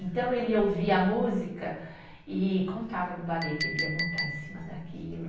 Então, ele ouvia a música e contava do balé que ele ia montar em cima daquilo.